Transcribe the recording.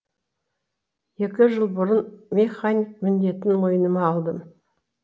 екі жыл бұрын мехник міндетін мойныма алдым